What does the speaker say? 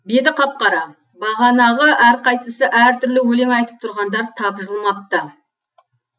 беті қап қара бағанағы әрқайсысы әр түрлі өлең айтып тұрғандар тапжылмапты